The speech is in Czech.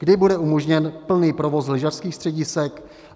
Kdy bude umožněn plný provoz lyžařských středisek?